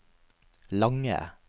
lange